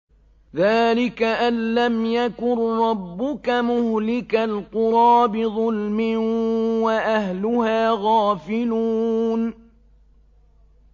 ذَٰلِكَ أَن لَّمْ يَكُن رَّبُّكَ مُهْلِكَ الْقُرَىٰ بِظُلْمٍ وَأَهْلُهَا غَافِلُونَ